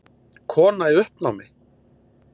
Kona í uppnámi!